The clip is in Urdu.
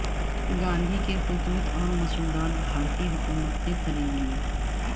گاندھی کے خطوط اور مسودات بھارتی حکومت نے خرید لیے